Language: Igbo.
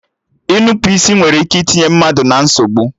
Nnupụisi nwere ike itinye mmadụ na nsogbu